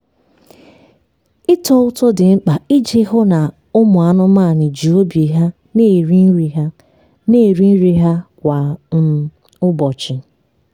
ịtọ ụtọ dị mkpa iji hụ na ụmụ anụmanụ ji obi ha na-eri nri ha na-eri nri ha kwa um ụbọchị.